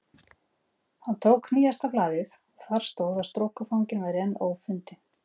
Hann tók nýjasta blaðið og þar stóð að strokufanginn væri enn ófundinn.